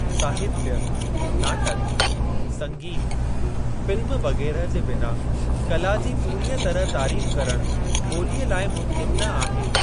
साहित्य, नाटक, संगीत, फ़िल्म वगैरह जे बिना कला जी पूरीअ तरह तारीफ़ करण ॿोलीअ लाइ मुमकिन न आहे।